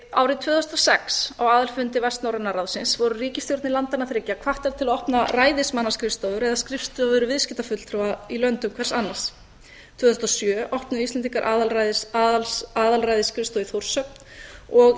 árið tvö þúsund og sex á aðalfundi vestnorræna ráðsins voru ríkisstjórnir landanna þriggja hvattar til að opna ræðismannaskrifstofur eða skrifstofur viðskiptafulltrúa í löndum hvers annars tvö þúsund og sjö opnuðu íslendingar aðalræðisskrifstofu í þórshöfn og